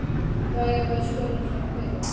Jæja, við skulum samt byrja.